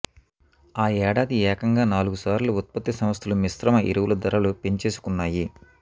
ఆ ఏడాది ఏకంగా నాలుగుసార్లు ఉత్పత్తి సంస్థలు మిశ్రమ ఎరువుల ధరలు పెంచేసుకొన్నాయి